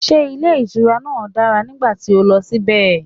Was the hotel great when you went there?